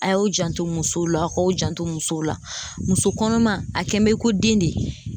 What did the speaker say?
A y'o janto musow la, a k'o janto musow la ,muso kɔnɔma a kɛn bɛ ko den de.